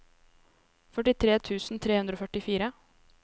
førtitre tusen tre hundre og førtifire